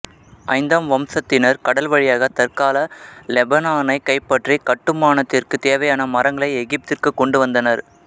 ஐந்தாம் வம்சத்தினர் கடல் வழியாக தற்கால லெபனானைக் கைப்பற்றி கட்டுமானத்திற்கு தேவையான மரங்களை எகிப்திற்கு கொண்டு வந்தனர்